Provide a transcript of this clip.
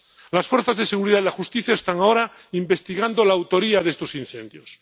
Las fuerzas de seguridad y la justicia están ahora investigando la autoría de estos incendios.